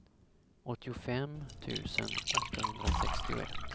åttiofem tusen åttahundrasextioett